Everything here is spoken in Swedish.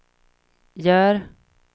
gör